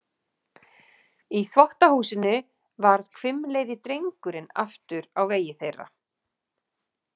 Í þvottahúsinu varð hvimleiði drengurinn aftur á vegi þeirra.